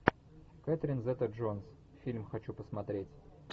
кэтрин зета джонс фильм хочу посмотреть